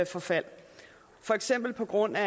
forfald for eksempel på grund af